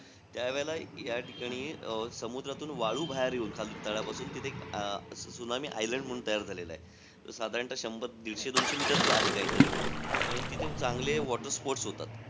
त्यावेळेला या ठिकाणी, समुद्रातून वाळू बाहेर येऊन, खालून तळापासून तिथे अं एक त्सुनामी आयलंड म्हणून तयार झालेलंय. साधारणतः शंभर-दीडशे दोनशे meter चं आहे काहीतरी आणि अं तिथं चांगले water sports होतात.